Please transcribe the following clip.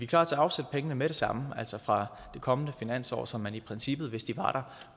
klar til at afsætte penge med det samme altså fra det kommende finansår så man i princippet hvis de var